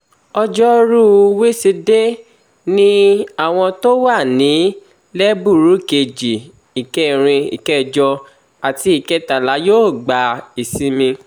ọjọ́rùú wísidee ni àwọn tó wà ní lẹ́bùrú kejì ìkẹrin ìkẹjọ àti ìkẹtàlá yóò gba ìsinmi